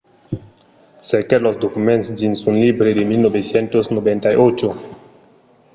cerquèt los documents dins un libre de 1998